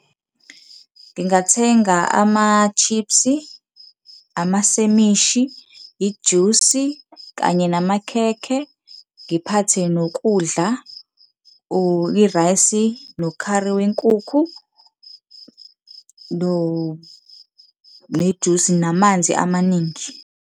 Ngingathenga ama-chips, amasemishi, ijusi kanye namakhekhe. Ngiphathe nokudla or i-rice nokhari wenkukhu nejusi, namanzi amaningi.